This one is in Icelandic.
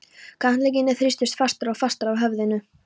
Handleggirnir þrýstust fastar og fastar að höfðinu.